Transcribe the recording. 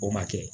O ma kɛ